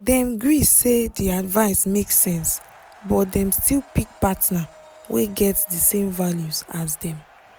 dem gree say d advice make sense but dem still pick partner wey get d same values as dem